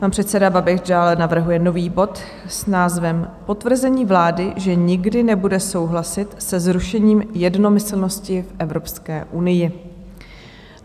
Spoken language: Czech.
Pan předseda Babiš dále navrhuje nový bod s názvem potvrzení vlády, že nikdy nebude souhlasit se zrušením jednomyslnosti v Evropské unii.